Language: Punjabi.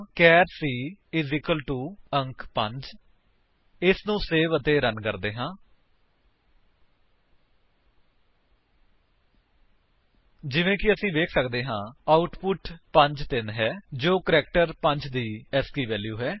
ਚਾਰ c ਅੰਕ 5 ਇਸਨੂੰ ਸੇਵ ਅਤੇ ਰਨ ਕਰਦੇ ਹਾਂ ਜਿਵੇਂ ਕਿ ਅਸੀ ਵੇਖ ਸੱਕਦੇ ਹਾਂ ਆਉਟਪੁਟ 53 ਹੈ ਜੋ ਕੈਰੈਕਟਰ 5 ਦੀ ਏਸਕੀ ਵੈਲਿਊ ਹੈ